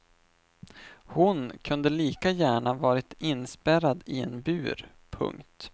Hon kunde lika gärna ha varit inspärrad i en bur. punkt